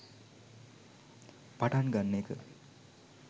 පටන් ගන්න එක.